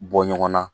Bɔ ɲɔgɔn na